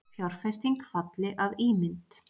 Fjárfesting falli að ímynd